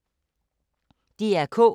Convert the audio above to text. DR K